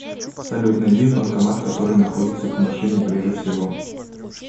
салют найди банкомат который находится к машине ближе всего